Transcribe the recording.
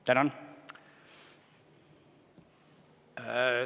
Tänan!